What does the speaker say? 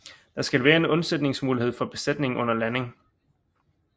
Der skal være en undsætningsmulighed for besætningen under landing